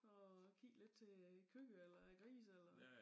Og kig lidt til øh æ køer eller æ grise eller